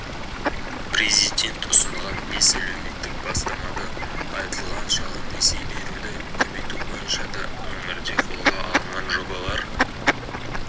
президент ұсынған бес әлеуметтік бастамада айтылған шағын несие беруді көбейту бойынша да өңірде қолға алынған жобалар